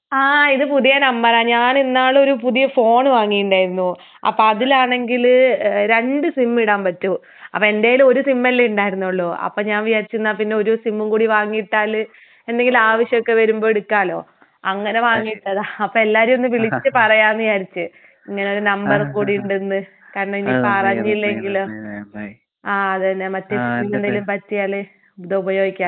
ആഹ് ഇത് പുതിയ നമ്പറാ. ഞാനിന്നാളൊരു പുതിയ ഫോണ് വാങ്ങിയിണ്ടാർന്നു. അപ്പൊ അതിലാണെങ്കില് രണ്ട് സിം ഇടാൻ പറ്റും. അപ്പൊ എന്റേല് ഒരു സിമ്മല്ലേ ഉണ്ടായിരുന്നൊള്ളൂ. അപ്പൊ ഞാൻ വിചാരിച്ചു എന്നാ പിന്നെ ഒരു സിമ്മും കൂടി വാങ്ങിയിട്ടാല് എന്തെങ്കിലും ആവശ്യമൊക്കെ വരുമ്പൊ എടുക്കാലോ. അങ്ങനെ വാങ്ങിയിട്ടതാ. അപ്പൊ എല്ലാരേം ഒന്ന് വിളിച്ചു പറയാന്ന് വിചാരിച്ച്. ഇങ്ങനൊരു നമ്പറും കൂടി ഉണ്ടെന്ന്. കാരണം ഇനിയിപ്പൊ അറിഞ്ഞില്ലെങ്കിലോ. ആഹ് അത് തന്നെ. മറ്റേ സിമ്മിനെന്തെങ്കിലും പറ്റിയാല് ഇത് ഉപയോഗിക്കാലോ.